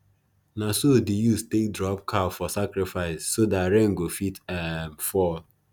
naso the youths take drop cow for sacrifice so dat rain go fit um fall